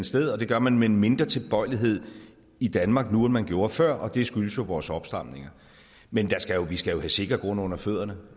sted og det gør man med en mindre tilbøjelighed i danmark nu end man gjorde før og det skyldes jo vores opstramninger men vi skal jo have sikker grund under fødderne